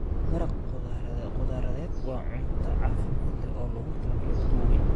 Maraq khudradeed waa cunto caafimaad leh oo loogu talagalay dadka waaweyn.